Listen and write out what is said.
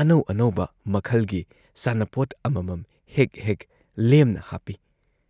ꯑꯅꯧ ꯑꯅꯧꯕ ꯃꯈꯜꯒꯤ ꯁꯥꯟꯅꯄꯣꯠ ꯑꯃꯃꯝ ꯍꯦꯛ ꯍꯦꯛ ꯂꯦꯝꯅ ꯍꯥꯞꯄꯤ ꯫